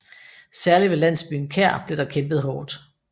Særligt ved landsbyen Kær blev der kæmpet hårdt